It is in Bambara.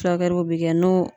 Furakɛliw bi kɛ n'o